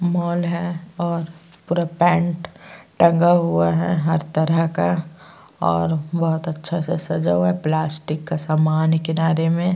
Mall है और पूरा पैन्ट टंगा हुआ है हर तरह का और बहोत अच्छे से सजा हुआ है। प्लास्टीक का सामान है किनारे में --